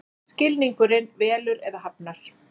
Skilningurinn velur eða hafnar.